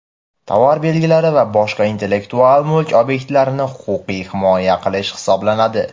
tovar belgilari va boshqa intellektual mulk obyektlarini huquqiy himoya qilish hisoblanadi.